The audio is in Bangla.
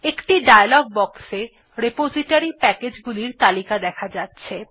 একটি ডায়ালগ বক্স এ রিপোজিটরি প্যাকেজগুলির তালিকা দেখা যাচ্ছে